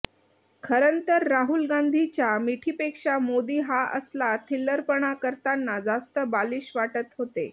खरंतर राहुल गांधींच्या मिठीपेक्षा मोदी हा असला थिल्लरपणा करताना जास्त बालिश वाटत होते